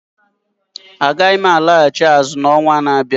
Aga m alaghachi azụ n'ọnwa na-abịa.